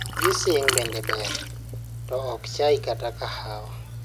Juicing bende ber, to ok chai kata kahawa.